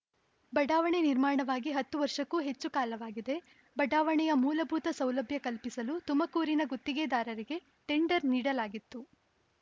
ಬಡಾವಣೆ ನಿರ್ಮಾಣವಾಗಿ ಹತ್ತು ವರ್ಷಕ್ಕೂ ಹೆಚ್ಚು ಕಾಲವಾಗಿದೆ ಬಡಾವಣೆಯ ಮೂಲಭೂತ ಸೌಲಭ್ಯ ಕಲ್ಪಿಸಲು ತುಮಕೂರಿನ ಗುತ್ತಿಗೆದಾರರಿಗೆ ಟೆಂಡರ್‌ ನೀಡಲಾಗಿತ್ತು